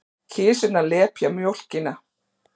Kisurnar lepja mjólkina.